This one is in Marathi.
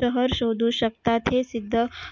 शहर शोधू शकतात हे सिद्ध